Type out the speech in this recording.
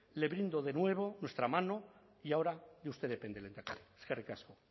le brindo de nuevo nuestra mano y ahora de usted depende lehendakari eskerrik asko